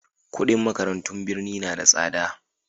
kudin makarantun birni na da tsada